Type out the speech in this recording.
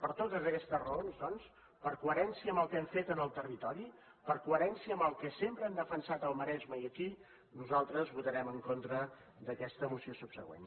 per totes aquestes raons doncs per coherència amb el que hem fet en el territori per coherència amb el que sempre hem defensat al maresme i aquí nosaltres votarem en contra d’aquesta moció subsegüent